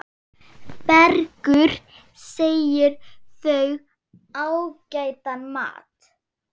Bergur segir þau ágætan mat.